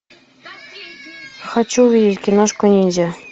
хочу увидеть киношку ниндзя